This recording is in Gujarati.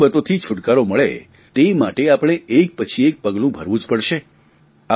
મુસીબતોથી છુટકારો મળે તે માટે આપણે એક પછી એક પગલા ભરવાં જ પડશે